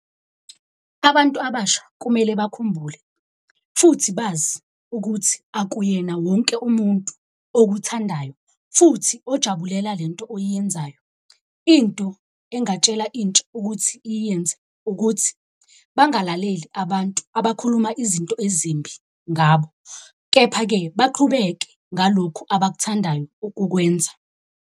Abantu abasha kumele bakhumbule futhi bazi ukuthi akuyena wonke umuntu okuthandayo. Futhi ojabulela le nto oyenzayo. Into engatshelwa intsha ukuthi iyenze ukuthi bangalaleli abantu abakhuluma izinto ezimbi ngabo, kepha-ke baqhubeke ngalokhu abakuthandayo ukukwenza.